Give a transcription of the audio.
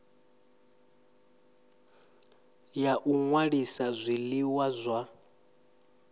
ya u ṅwalisa zwiḽiwa zwa